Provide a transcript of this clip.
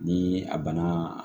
Ni a banna